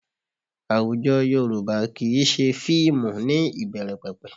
Àwùjọ Yorùbá kì í ṣe fíìmù ní ìbẹ̀rẹ̀pẹ̀pẹ̀